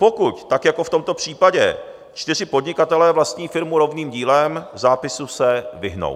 Pokud, tak jako v tomto případě, čtyři podnikatelé vlastní firmu rovným dílem, zápisu se vyhnou.